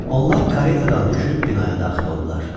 Onlar karetadan düşüb binaya daxil oldular.